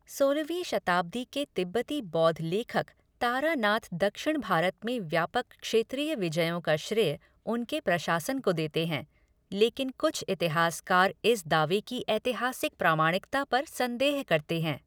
सोलहवीं शताब्दी के तिब्बती बौद्ध लेखक तारानाथ दक्षिण भारत में व्यापक क्षेत्रीय विजयों का श्रेय उनके प्रशासन को देते हैं, लेकिन कुछ इतिहासकार इस दावे की ऐतिहासिक प्रामाणिकता पर संदेह करते हैं।